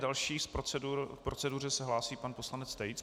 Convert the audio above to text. Další k proceduře se hlásí pan poslanec Tejc.